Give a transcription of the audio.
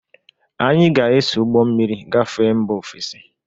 Anyị ga-eso ụgbọ mmiri gafe mba ofesi.